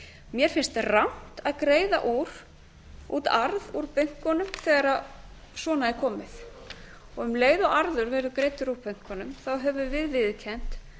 mér finnst rangt að greiða út arð úr bönkunum þegar svona er komið og um leið og arður verður greiddur úr bönkunum þá höfum við viðurkennt